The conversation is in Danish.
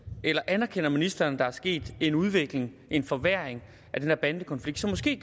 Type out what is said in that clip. eller anerkender ministeren at der sket en udvikling en forværring af den her bandekonflikt som måske